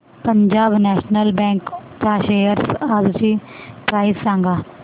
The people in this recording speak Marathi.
पंजाब नॅशनल बँक च्या शेअर्स आजची प्राइस सांगा